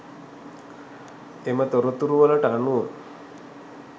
එම තොරතුරුවලට අනුව